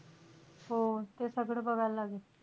हो. ते सगळं बायल लागेल.